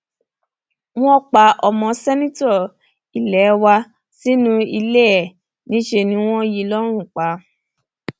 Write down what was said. wọn pa ọmọ sẹǹtítọ ilé wa sínú ilé ẹ níṣẹ ni wọn yín in lọrùn pa